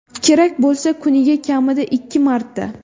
Kerak bo‘lsa kuniga kamida ikki marta.